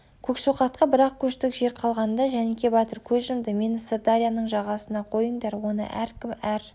көкшоқатқа бір-ақ көштік жер қалғанда жәніке батыр көз жұмды мені сырдарияның жағасына қойыңдар оны әркім әр